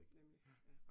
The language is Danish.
Nemlig, ja